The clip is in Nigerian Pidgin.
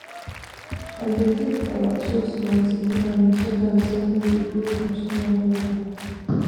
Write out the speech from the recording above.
i dey give our chicks multivitamin two times every week make dem strong wella